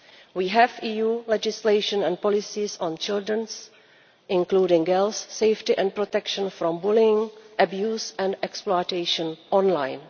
We have EU legislation and policies on children's including girls' safety and protection from bullying, abuse and exploitation online.